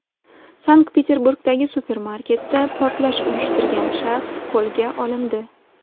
Sankt-Peterburgdagi supermarketda portlash uyushtirgan shaxs qo‘lga olindi.